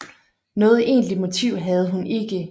Noget egentligt motiv havde hun ikke